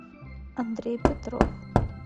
андрей петров